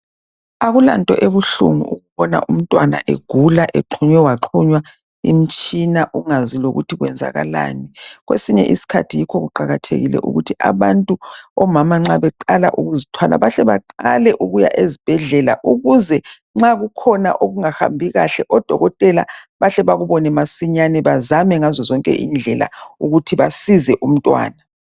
Akulanto ebuhlungu ukubona umntwana egula exhunywe waxhunywa imitshina ungazi lokuthi kwenzakalani kwesinye isikhathi yikho kuqakathekile ukuthi abantu omama nxa beqala ukuzithwala bahle baqale ukuya ezibhedlela ukuze nxa kukhona okungahambi kahle odokotela bahle bakubone masinyane bazame ngazozonke indlela ukuthi basize umntwana.